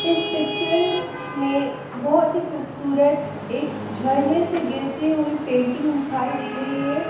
इस पिक्चर में बहोत ही खूबसूरत एक झरने से गिरती हुई पेंटिंग दिखाई दे रही है।